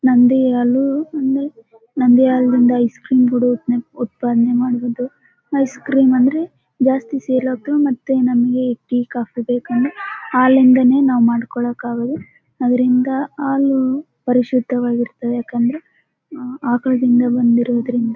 ನಂದಿನಿ ಹಾಲು ಇದೆ ನಂದಿನಿ ಹಾಲಿಂದ ಐಸ್ ಕ್ರೀಮ್ ಕೂಡ ಉತ್ಪಾನೆ ಉತ್ಪನ್ನ ಮಾಡುವುದು ಐಸ್ ಕ್ರೀಮ್ ಅಂದ್ರೆ ಜಾಸ್ತಿ ಸೇಲ್ ಆಗ್ತವು ಮತ್ತೆ ನಮಗೆ ಟೀ ಕಾಫಿ ಬೇಕಂದ್ರೆ ಹಾಲಿಂದಲೇ ನಾವು ಮಾಡ್ಕೊಳ್ಳಕ್ಕಾಗೋದು ಅದರಿಂದ ಹಾಲು ಪರಿಶುದ್ಧವಾಗಿರುತ್ತದೆ ಯಾಕಂದ್ರೆ ಹ್ಮ್ ಆಕಳದಿಂದ ಬಂದಿರೋದ್ರಿಂದ .